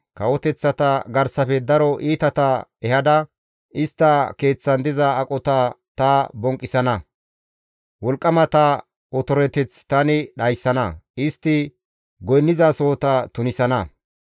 Kawoteththata garsafe daro iitata ehada istta keeththan diza aqota ta bonqqisana; wolqqamata otoreteth tani dhayssana; istti goynnizasohota tunisana.